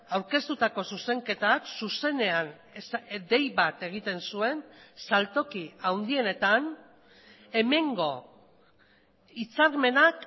aurkeztutako zuzenketak zuzenean dei bat egiten zuen saltoki handienetan hemengo hitzarmenak